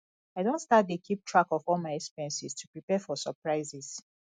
i don start dey keep track of all my expenses to prepare for surprises